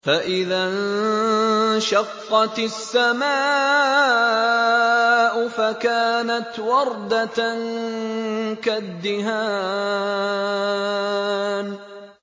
فَإِذَا انشَقَّتِ السَّمَاءُ فَكَانَتْ وَرْدَةً كَالدِّهَانِ